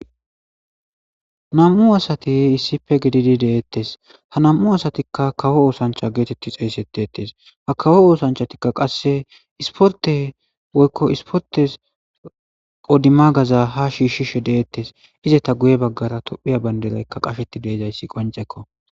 Nam'u asati issippe gidid de'etes, ha nam'u asatika kawo osancha geteti xeysetetesi,ha kawo osanchatika qase sporte woyko sportes qodimagaza ha shiishishe de'etes, izeta guye bagara tophiya Bandrayka qasheti de'izaysi qoncekko.